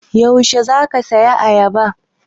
Yaushe za ka saya ayaba?